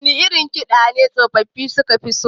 Wane irin kiɗa ne tsofaffafi suka fi so?